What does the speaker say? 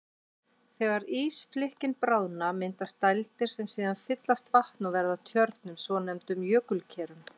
Þegar ísflikkin bráðna myndast dældir sem síðan fyllast vatni og verða að tjörnum, svonefndum jökulkerum.